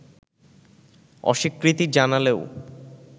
অস্বীকৃতি জানালেও